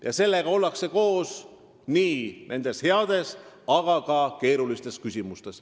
Ja seega ollakse koos nii heades kui ka keerulistes küsimustes.